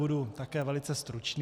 Budu také velice stručný.